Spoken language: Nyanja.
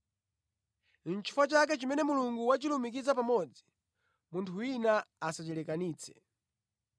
Chifukwa chake chimene Mulungu wachilumikiza pamodzi, munthu wina asachilekanitse.”